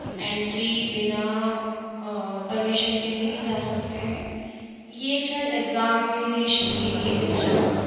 Entry बिना अ permission के नहीं जा सकते है ये शायद एग्जामिनेशन के लिए सिस्टम है।